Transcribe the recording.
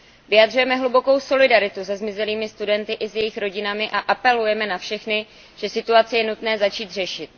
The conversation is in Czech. Vyjadřujeme hlubokou solidaritu se zmizelými studenty i s jejich rodinami a apelujeme na všechny, že situaci je nutné začít řešit.